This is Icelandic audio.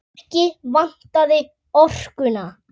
Ekki vantaði orkuna.